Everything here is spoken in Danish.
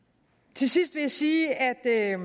til sidst vil jeg sige at jeg